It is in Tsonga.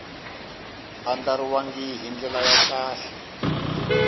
andlariwangi hi ndlela ya kahle